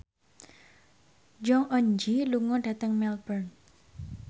Jong Eun Ji lunga dhateng Melbourne